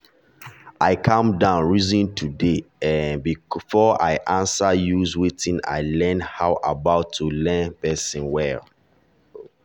i calm down reason today um before i answer use wetin i learn about how to hear person well.